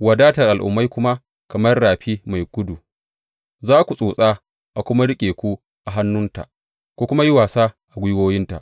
wadatar al’ummai kuma kamar rafi mai gudu; za ku tsotsa a kuma riƙe ku a hannunta ku kuma yi wasa a gwiwoyinta.